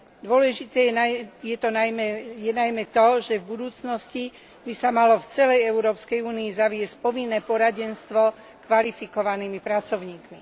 Dôležité je najmä to, že v budúcnosti by sa malo v celej Európskej únii zaviesť povinné poradenstvo kvalifikovanými pracovníkmi.